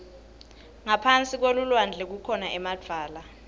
ngaphasi kwelulwandle kukhona emadvwala